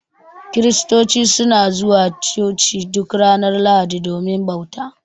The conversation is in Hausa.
Kiristoci suna zuwa Coci duk ranar Lahadi domin bauta.